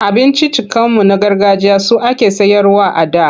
Abinciccikanmu na gargajiya su ake sayarwa a da.